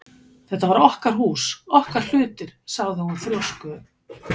Þetta var okkar hús, okkar hlutir- sagði hún þrjósku